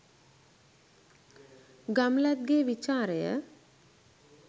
ගම්ලත්ගේ විචාරය